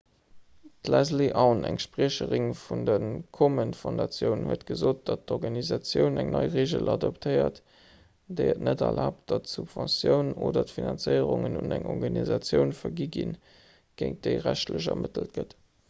d'leslie aun eng spriecherin vun der komen foundation huet gesot datt d'organisatioun eng nei reegel adoptéiert déi et net erlaabt datt subventiounen oder finanzéierungen un eng organisatioun vergi ginn géint déi rechtlech ermëttelt gëtt